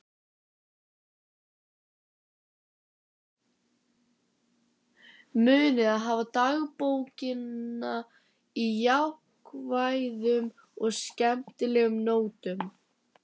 Munið að hafa dagbókina á jákvæðum og skemmtilegum nótum.